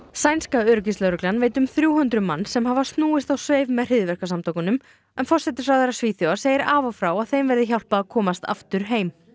sænska öryggislögreglan veit um um þrjú hundruð manns sem hafa snúist á sveif með forsætisráðherra Svíþjóðar segir af og frá að þeim verði hjálpað að komast aftur heim